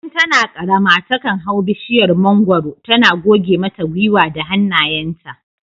Tun tana karama takan hau bishiyar mangwaro tana goge mata gwiwa da hannayenta